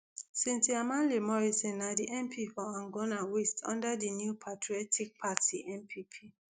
cynthia mamle morrison na di mp for angona waste under di new patriotic party npp